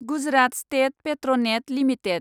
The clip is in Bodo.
Gujarat state Petronet limited